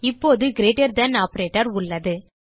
இப்போது greater than operator உள்ளது